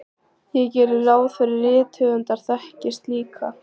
Ég geri ráð fyrir að rithöfundar þekkist líka.